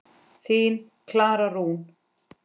Þín, Klara Rún.